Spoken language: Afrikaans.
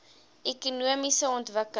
ekonomiese ontwikkeling